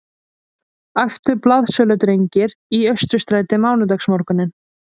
æptu blaðsöludrengir í Austurstræti mánudagsmorguninn